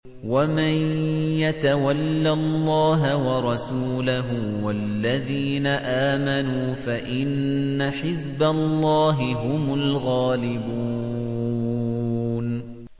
وَمَن يَتَوَلَّ اللَّهَ وَرَسُولَهُ وَالَّذِينَ آمَنُوا فَإِنَّ حِزْبَ اللَّهِ هُمُ الْغَالِبُونَ